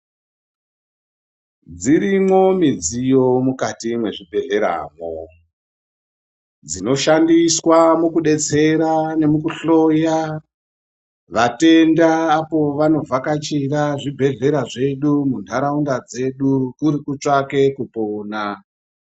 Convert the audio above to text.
Dzirimo midziyo mukati mezvibhedhleramwo dzinoshandiswa mukudetsera mukuhloya vatenda apo vandovhakachira mundaraunda medu kuri kutsvake kupona.